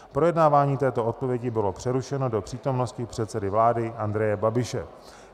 Projednávání této odpovědi bylo přerušeno do přítomnosti předsedy vlády Andreje Babiše.